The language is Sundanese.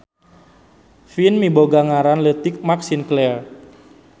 Vin miboga ngaran leutik Mark Sinclair.